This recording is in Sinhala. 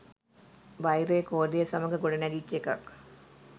වෛරය ක්‍රෝධය සමඟ ගොඩනැගිච්ච එකක්.